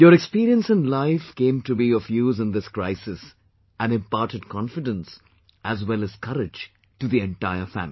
Your experience in life came to be of use in this crisis and imparted confidence as well as courage to the entire family